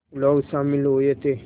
लोग शामिल हुए थे